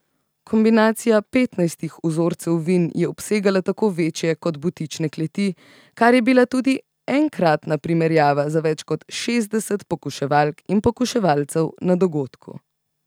Kombinacija petnajstih vzorcev vin je obsegala tako večje kot butične kleti, kar je bila tudi enkratna primerjava za več kot šestdeset pokuševalk in pokuševalcev na dogodku.